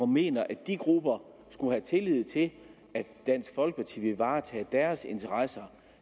mener at de grupper skulle have tillid til at dansk folkeparti vil varetage deres interesser